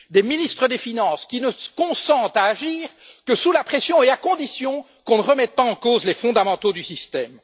Des ministres des finances qui ne consentent à agir que sous la pression et à condition qu'on ne remette pas en cause les fondamentaux du système.